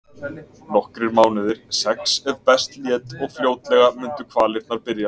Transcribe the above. Nokkrir mánuðir, sex ef best lét, og fljótlega mundu kvalirnar byrja.